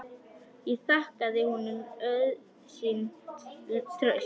Ég þakkaði honum auðsýnt traust.